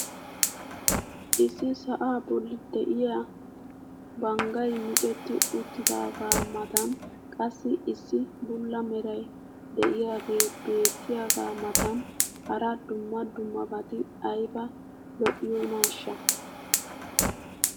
Issi sa"aa bolli diyaa banggay micetti uttidaagaa matan qassi issi bulla meray diyaagee beetiyaagaa matan hara dumma dummabati ayba lo'iyoonaashsha!